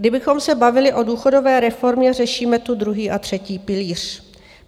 Kdybychom se bavili o důchodové reformě, řešíme tu druhý a třetí pilíř.